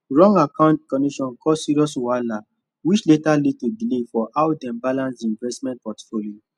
wrong account connection cause serious wahala which later lead to delay for how dem balance the investment portfolio